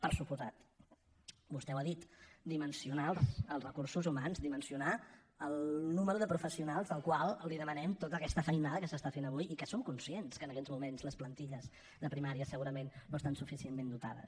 per descomptat vostè ho ha dit dimensionar els recursos humans dimensionar el nombre de professionals al qual li demanem tota aquesta feinada que s’està fent avui i que som conscients que en aquests moments les plantilles de primària segurament no estan suficientment dotades